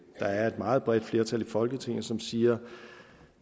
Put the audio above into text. er et meget bredt flertal i folketinget som siger